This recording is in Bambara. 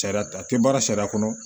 Sariya ta a tɛ baara sariya kɔnɔ